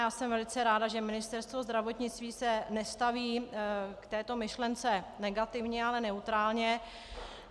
Já jsem velice ráda, že Ministerstvo zdravotnictví se nestaví k této myšlence negativně, ale neutrálně.